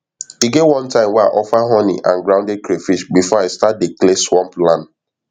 e get one time wey i offer honey and grounded crayfish before i start dey clear swamp land